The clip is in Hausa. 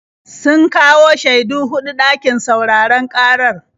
Sun kawo shaidu huɗu ɗakin sauraron ƙarar.